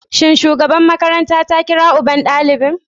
Shin shugaban makarantar ta kira uban ɗalibin?